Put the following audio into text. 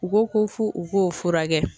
U ko ko fo u k'o furakɛ